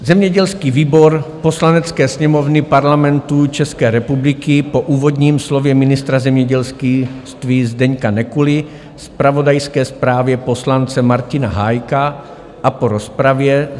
Zemědělský výbor Poslanecké sněmovny Parlamentu České republiky po úvodním slově ministra zemědělství Zdeňka Nekuly, zpravodajské zprávě poslance Martina Hájka a po rozpravě